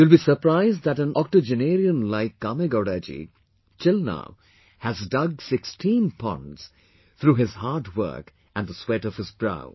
You will be surprised that an octagenerarian likeKamegowdaji, till now, has dug 16 ponds, through his hard work and the sweat of his brow